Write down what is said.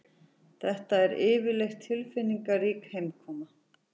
Þetta er yfirleitt tilfinningarík heimkoma